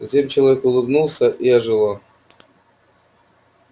затем человек улыбнулся и ожило